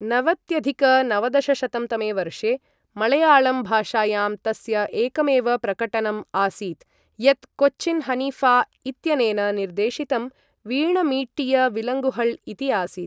नवत्यधिक नवदशशतं तमे वर्षे मळयाळम् भाषायां तस्य एकमेव प्रकटनम् आसीत्, यत् कोचिन् हनीफ़ा इत्यनेन निर्देशितं वीण मीट्टिय विलङ्गुहळ् इति आसीत्।